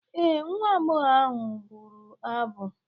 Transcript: Ee, nwa agbọghọ ahụ bụrụ abụ.